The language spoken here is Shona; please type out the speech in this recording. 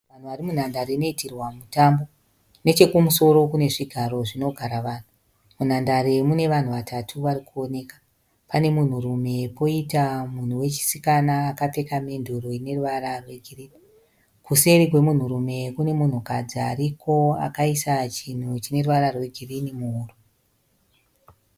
Vanhu vari munhandare inoitirwa mutambo. Nechekumusoro kune zvigaro zvinogara vanhu. Munhandare mune vanu vatatu vari kuoneka. Pane munhurume, kwoita munhu wechisikana akapfeka menduru ine ruvara rwegirini, kuseri kwemunhurume kune munhukadzi ariko akaisa chinhu chine ruvara rwegirini muhuro.